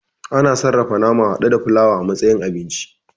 A na sarrafa nama hada da fulawa a matsayin abinci